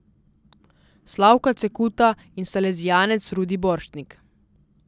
Slavka Cekuta in salezijanec Rudi Borštnik.